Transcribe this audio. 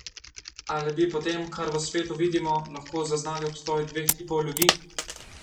Ali bi po tem, kar v svetu vidimo, lahko zaznali obstoj dveh tipov ljudi?